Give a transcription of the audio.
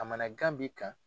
Kamanagan b'i kan.